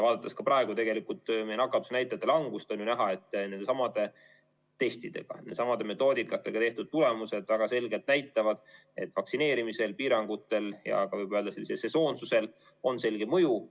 Vaadates praegu meie nakatumisnäitajate langust, on ju näha, et nendesamade testidega, nendesamade metoodikatega saadud tulemused väga selgelt näitavad, et vaktsineerimisel, piirangutel ja võib öelda, et ka sesoonsusel on selge mõju.